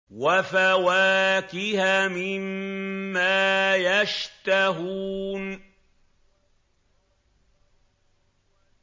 وَفَوَاكِهَ مِمَّا يَشْتَهُونَ